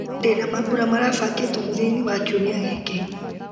ndĩna mambura marabangĩtwo mũthia-inĩ wa kiumia gĩkĩ